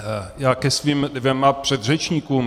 Já ke svým dvěma předřečníkům.